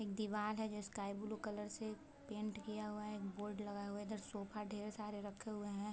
एक दीवाल है जो स्काई ब्लू कलर से पेंट किया हुआ है बोर्ड लगा हुआ है उधर सोफा ढेर सारे रखे हुए हैं।